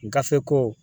Gafe ko